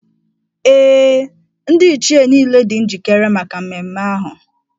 Ee, Ndị Ichie niile dị njikere maka ememme ahụ.